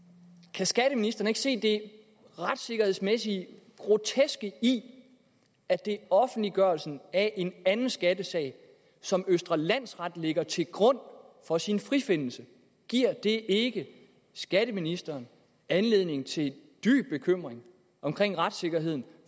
kan skatteministeren ikke se det retsikkerhedsmæssigt groteske i at det er offentliggørelsen af en anden skattesag som østre landsret lægger til grund for sin frifindelse giver det ikke skatteministeren anledning til dyb bekymring om retssikkerheden